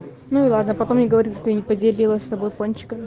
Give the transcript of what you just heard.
ну и ладно потом мне говорит что я не поделилась с тобой пончиками